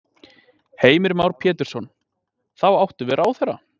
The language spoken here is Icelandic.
Heimir Már Pétursson: Þá áttu við ráðherra?